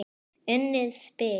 Unnið spil.